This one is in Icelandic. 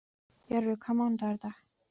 Jörvi, hvaða mánaðardagur er í dag?